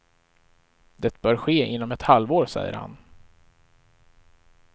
Det bör ske inom ett halvår, säger han.